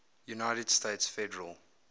united states federal